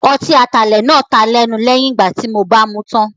Ọtí atalẹ̀ náà taa lẹ́nu lẹ́yìn ìgbà tí ó bàa mú tán.